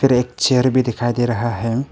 एक चेयर भी दिखाई दे रहा है।